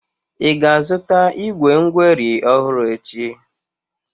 Ị ga-azụta igwé ngweri ọhụrụ echi?